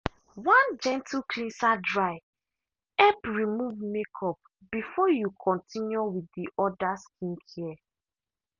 one gentle cleanser dry help remove makeup before you continue with the orda skincare.